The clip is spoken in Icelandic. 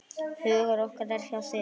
Hugur okkar er hjá þér.